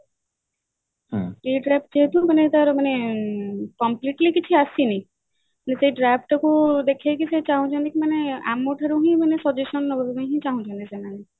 ଯେହେତୁ ମାନେ ତାର ମାନେ completely କିଛି ଆସିନି ସେ ସେଇ draft ଟାକୁ ଦେଖେଇ କି ସେ ଚାହୁଁଛନ୍ତି କି ମାନେ ଆମ ଠାରୁ ହିଁ ମାନେ suggestion ନବା ପାଇଁ ହିଁ ଚାହୁଁଛନ୍ତି ସେମାନେ